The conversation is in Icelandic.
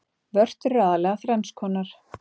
Vörtur eru aðallega þrenns konar.